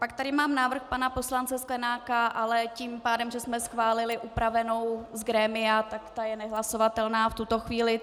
Pak tady mám návrh pana poslance Sklenáka, ale tím pádem, že jsme schválili upravenou z grémia, tak ta je nehlasovatelná v tuto chvíli.